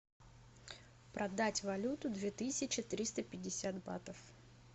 продать валюты две тысячи триста пятьдесят батов